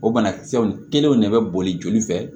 O banakisɛw kelenw de bɛ boli joli fɛ